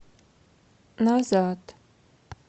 назад